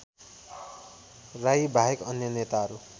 राईबाहेक अन्य नेताहरू